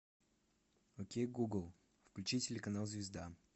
окей гугл включи телеканал звезда